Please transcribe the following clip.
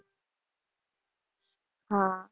હા